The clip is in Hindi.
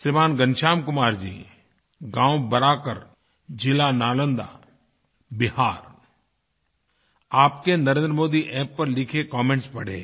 श्रीमान घनश्याम कुमार जी गाँव बराकर जिला नालन्दा बिहार आपके NarendraModiAppपर लिखे कमेंट्स पढ़े